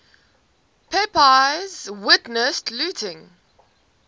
pepys witnessed looting